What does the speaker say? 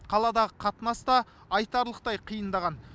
қаладағы қатынас та айтарлықтай қиындаған